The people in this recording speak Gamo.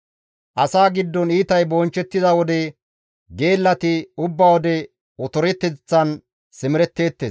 Asaa giddon iitay bonchchettida wode geellati ubba wode otoreteththan simeretteettes.